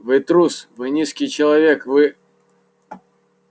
вы трус вы низкий человек вы